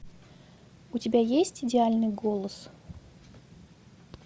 у тебя есть идеальный голос